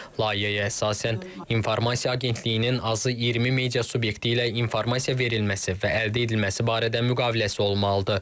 Layihəyə əsasən informasiya agentliyinin azı 20 media subyekti ilə informasiya verilməsi və əldə edilməsi barədə müqaviləsi olmalıdır.